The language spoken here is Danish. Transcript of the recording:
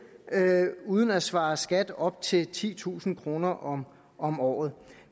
uden at svare skat af op til titusind kroner om om året